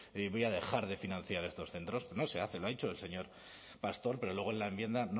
y voy a dejar de financiar a estos centros pero no se hace lo ha dicho el señor pastor pero luego en la enmienda